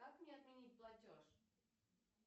как мне отменить платеж